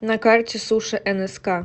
на карте суши нск